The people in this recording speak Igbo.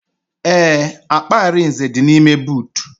Ee, akpa Arinze dị n'ime boot